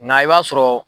Nka i b'a sɔrɔ